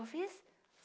eu fiz?